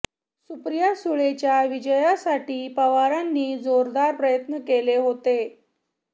सुप्रिया सुळेंच्या विजयासाठी पवारांनी जोरदार प्रयत्न केले होते